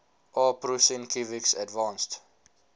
aw prusinkiewicz advanced